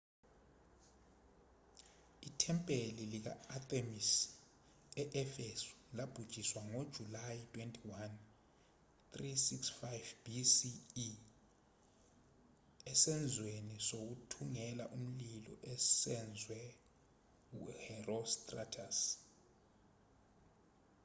ithempeli lika-athemisi e-efesu labhujiswa ngojulayi 21 356 bce esenzweni sokuthungela ngomlilo esenzwe u-herostratus